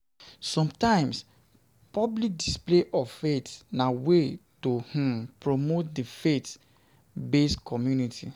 Sometimes public display of faith na way to um promote di faith based community